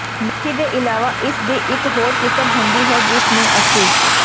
ਮੇਥੀ ਦੇ ਇਲਾਵਾ ਇਸ ਦੀ ਇੱਕ ਹੋਰ ਕਿਸਮ ਹੁੰਦੀ ਹੈ ਜਿਸ ਨੂੰ ਅਸੀਂ